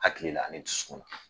Hakili la ani dusukun na